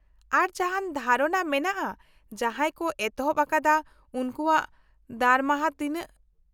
ᱟᱨ, ᱡᱟᱦᱟᱱ ᱫᱷᱟᱨᱚᱱᱟ ᱢᱮᱱᱟᱜᱼᱟ ᱡᱟᱦᱟᱸᱭ ᱠᱚ ᱮᱛᱚᱦᱚᱵ ᱟᱠᱟᱫᱟ ᱩᱱᱠᱩᱣᱟᱜ ᱫᱟᱨᱢᱟᱦᱟ ᱛᱤᱱᱟᱹᱜ ?